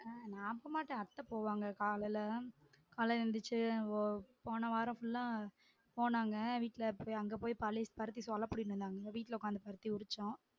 ஆஹ் நா போமாட்டேன் அத்த போவாங்க காலைல காலைல எந்திச்சி போன வாரம் full ஆ போனாங்க வீட்டுல அப்டி அங்க போயி பருத்திசோலை புடிங்கிட்டு வந்தாங்க வீட்ல உக்காந்து பருத்தி உரிச்சோம்